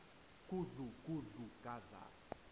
gudlu gudlu gadla